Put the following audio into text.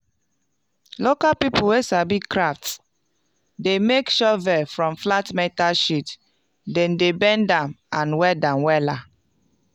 local pipul wey sabi craft dey make shovel from flat metal sheet dem dey bend am and weld am wela.